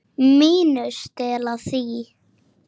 MÍNU. Stela því?